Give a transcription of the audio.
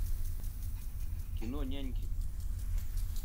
кино няньки